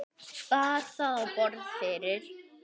Bar það á borð fyrir